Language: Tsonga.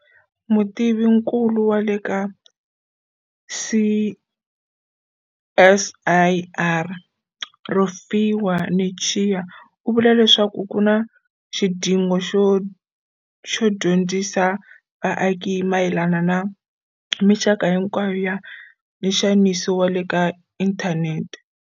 Mutivinkulu wa le ka CSIR Rofhiwa Netshiya u vula leswaku ku na xidingo xo dyondzisa vaaki hi mayelana na mixaka hinkwayo ya nxaniso wa le ka inthanete.